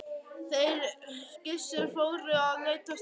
Þeir Gissur fóru að leita Snorra um húsin.